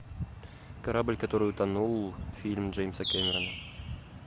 корабль который утонул фильм джеймса кэмерона